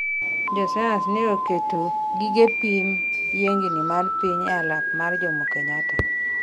jo sayans ne oketo gige pimo yiengni mar piny e alap ma Jomokenyatta